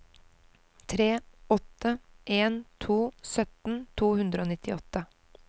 tre åtte en to sytten to hundre og nittiåtte